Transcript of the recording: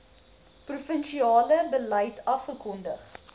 provinsiale beleid afgekondig